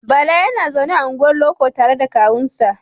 Bala yana zaune a unguwar loko tare da kawunsa.